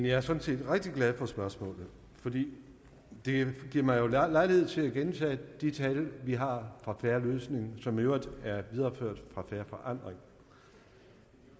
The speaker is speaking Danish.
er sådan set rigtig glad for spørgsmålet for det giver mig jo lejlighed til at gentage de tal vi har fra en fair løsning og som i øvrigt er videreført fra fair forandring